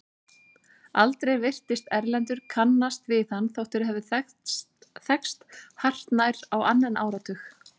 Aldrei virtist Erlendur kannast við hann þótt þeir hefðu þekkst hartnær á annan áratug.